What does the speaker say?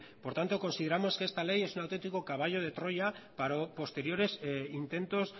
por tanto consideramos que esta ley es una autentico caballo de troya para posteriores intentos